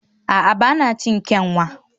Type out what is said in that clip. a'a, ba na cin kyanwa